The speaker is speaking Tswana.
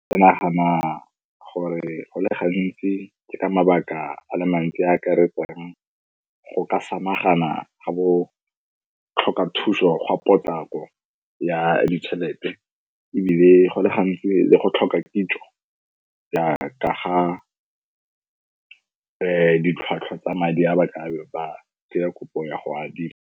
Ke nagana gore go le gantsi ka mabaka a le mantsi a akaretsang go ka samagana ga botlhokathuso ya potlako ya ditšhelete, ebile go le gantsi go tlhoka kitso jaaka ga ditlhwatlhwa tsa madi a ba tlabe ba tsenya kopo ya go adima.